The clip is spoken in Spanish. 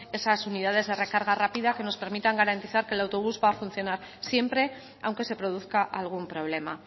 esas unidades de recarga rápida que nos permita garantizar que el autobús va a funcionar siempre aunque se produzca algún problema